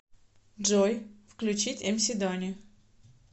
джой включить эмси дони